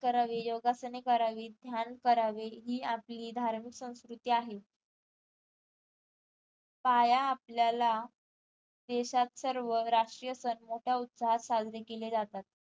करावे योगासने करावीत ध्यान करावे ही आपली धार्मिक संस्कृती आहे पाया आपल्याला देशात सर्व राष्ट्रीय सण मोठ्या उत्साहात साजरे केले जातात